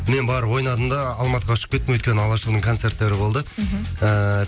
мен барып ойнадым да алматыға ұшып кеттім өйткені алашұлының концерттері болды мхм ыыы